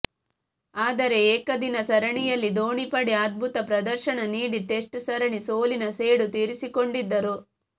ಆದರೆ ಏಕದಿನ ಸರಣಿಯಲ್ಲಿ ಧೋನಿ ಪಡೆ ಅದ್ಭುತ ಪ್ರದರ್ಶನ ನೀಡಿ ಟೆಸ್ಟ್ ಸರಣಿ ಸೋಲಿನ ಸೇಡು ತೀರಿಸಿಕೊಂಡಿದ್ದರು